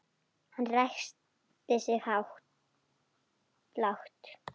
Hann ræskti sig lágt.